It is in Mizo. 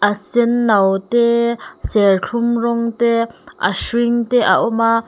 sen no te serthlum rawng te a hring te a awm a.